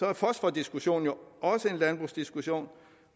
er fosfordiskussionen jo også en landbrugsdiskussion